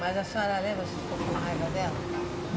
Mas a senhora lembra se ficou com raiva dela?